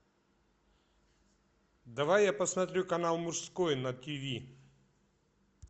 давай я посмотрю канал мужской на тв